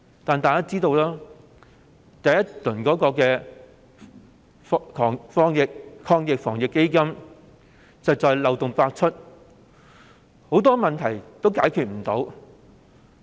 但是，一如大家所知，第一輪防疫抗疫基金計劃漏洞百出，很多問題都解決不了。